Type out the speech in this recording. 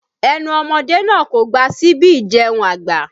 Ẹnu ọmọdé náà kò gba síbi ìjẹun àgbà